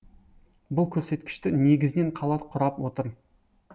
бұл көрсеткішті негізінен қала құрап отыр